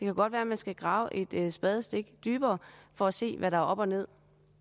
godt være at man skal grave et spadestik dybere for at se hvad der er op og ned